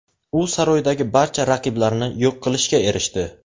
U saroydagi barcha raqiblarini yo‘q qilishga erishdi.